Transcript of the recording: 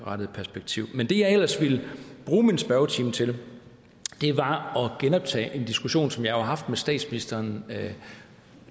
perspektiv men det jeg ellers ville bruge spørgetimen til var at genoptage en diskussion som jeg jo har haft med statsministeren